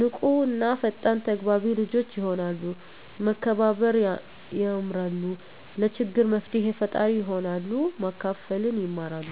ንቁ እና ፈጣን ተግባቢ ልጆች የሆናሉ፤ መከባበር የማራሉ፤ ለችግር መፍትሔ ፈጣሪ ይሆናሉ፤ ማካፈልን ይማራ፤